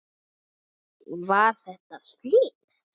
Var þetta slys?